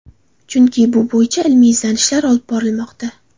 Chunki bu bo‘yicha ilmiy izlanishlar olib borilmoqda.